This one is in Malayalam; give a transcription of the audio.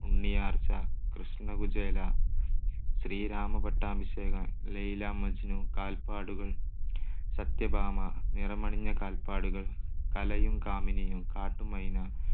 ഉണ്ണിയാർച്ച, കൃഷ്ണകുചേല, ശ്രീരാമ പട്ടാഭിഷേകം, ലൈല മജ്നു, കാൽപ്പാടുകൾ, സത്യഭാമ, നിണമണിഞ്ഞ കാൽപ്പാടുകൾ, കലയും കാമിനിയും, കാട്ടുമൈന,